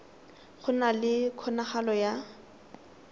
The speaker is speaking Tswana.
go na le kgonagalo ya